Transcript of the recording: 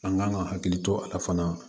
An kan ka hakili to a la fana